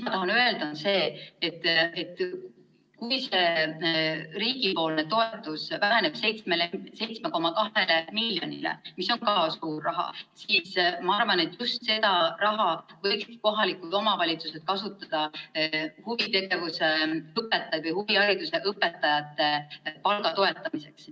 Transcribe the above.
Ma tahan sellega öelda seda, et kui riigi toetus väheneb 7,2 miljonile eurole, mis on ka suur raha, siis ma arvan, et just seda raha võiksid kohalikud omavalitsused kasutada huvitegevuse ja huvihariduse õpetajate palga toetamiseks.